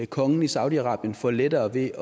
kongen i saudi arabien får lettere ved